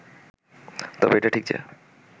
তবে এটা ঠিক যে